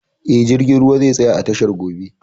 Eh, jirgin ruwan zai tsaya a tashar gobe